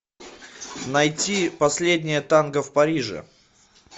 найти последнее танго в париже